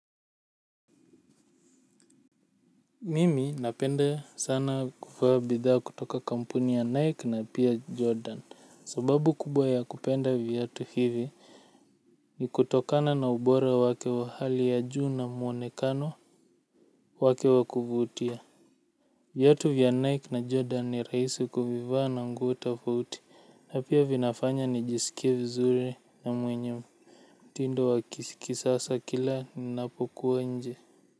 Mimi napenda sana kuvaa bidhaa kutoka kampuni ya Nike na pia Jordan sababu kubwa ya kupenda viatu hivi ni kutokana na ubora wake wa hali ya juu na muonekano wake wakuvutia viatu vya Nike na Jordan ni rahisi kuvaa na nguo tofauti na pia vinafanya nijisikie vizuri na mwenye mtindo wa kisasa kila ninapokuwa nje.